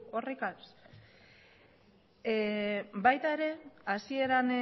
horrekin baita ere hasieran